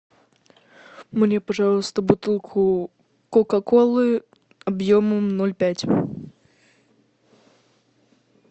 мне пожалуйста бутылку кока колы объемом ноль пять